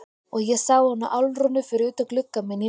Og ég sá hana Álfrúnu fyrir utan gluggann minn í nótt.